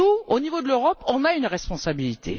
Au niveau de l'Europe, nous avons une responsabilité.